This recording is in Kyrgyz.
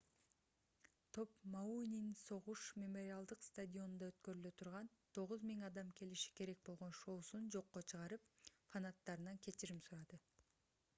топ мауинин согуш мемориалдык стадионунда өткөрүлө турган 9000 адам келиши керек болгон шоусун жокко чыгарып фанаттарынан кечирим сурады